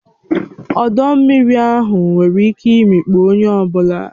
Ọdọ mmiri ahụ nwere ike imikpu onye ọ bụla